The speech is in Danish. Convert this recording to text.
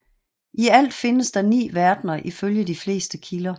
I alt findes der ni verdner ifølge de fleste kilder